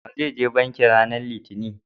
wa zai je banki ranan litinin?